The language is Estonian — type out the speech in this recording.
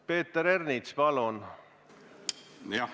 Peeter Ernits, palun!